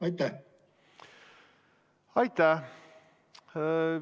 Aitäh!